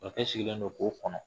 Kɔkɛ sigilen don k'o kɔnɔ